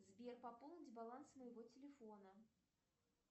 сбер пополнить баланс моего телефона